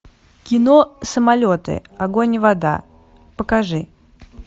кино самолеты огонь и вода покажи